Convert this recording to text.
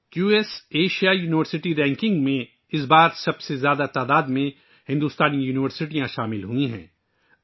اس بار Q S Asia university ranking میں سب سے زیادہ ہندوستانی یونیورسٹیوں کو شامل کیا گیا ہے